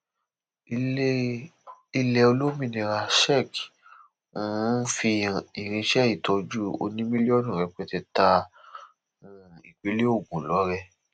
ilé olómìnira czech um fi irinṣẹ ìtọjú oní mílíọnù rẹpẹtẹ ta um ìpínlẹ ogun lọrẹ